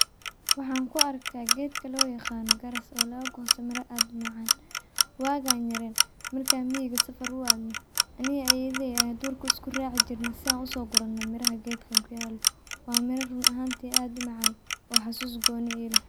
Waxaan ku arka geedka loo yaqano garas oo lagagosta mira aad u macaan. Waagan yareen markan miyiga safar u adno ani iyo ayeyadey aya durka iskuraaci jirne si aan uso gurano miraha geedkan kuyalo waa miro run ahanti aad u macaan oo xasus gooni ileh.